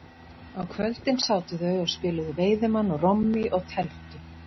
Á kvöldin sátu þau og spiluðu veiðimann og rommí og tefldu.